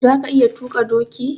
Za ka iya tuƙa doki?